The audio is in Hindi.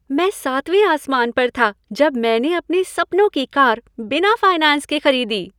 मैं सातवें आसमान पर था जब मैंने अपने सपनों की कार बिना फाइनैंस के खरीदी।